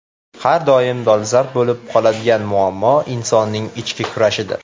Har doim dolzarb bo‘lib qoladigan muammo insonning ichki kurashidir.